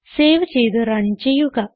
save ചെയ്ത് run ചെയ്യുക